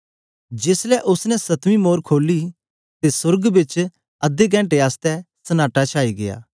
जेस ले उस्स ने सतवीं मोर खोली ते सोर्ग बिच अधे कैणटे आसतै सन्‍नाटा छाई गीया